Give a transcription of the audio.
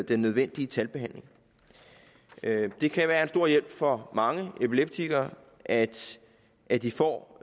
den nødvendige tandbehandling det kan være en stor hjælp for mange epileptikere at at de får